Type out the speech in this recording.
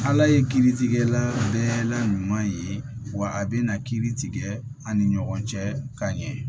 Ala ye kiiritigɛla bɛɛ la ɲuman ye wa a bɛna kiiri tigɛ ani ɲɔgɔn cɛ ka ɲɛ